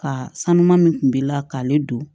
Ka sanuya min kun b'i la k'ale don